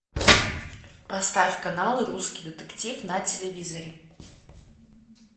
поставь канал русский детектив на телевизоре